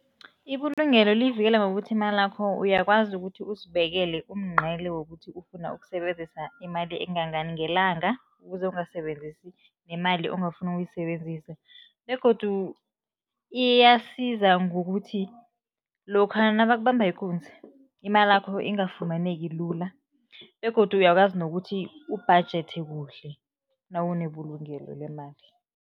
Ibulungelo liyivikela ngokuthi imalakho uyakwazi ukuthi uzibekele umngqele wokuthi ufuna ukusebenzisa imali engangani ngelanga, ukuze ungasebenzisi nemali ongafuni ukuyisebenzisa. Begodu iyasiza ngokuthi lokha nabakubamba ikunzi, imalakho ingafumaneki lula begodu uyakwazi nokuthi ubhajethe kuhle nawunebulungelo lemali.